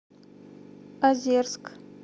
озерск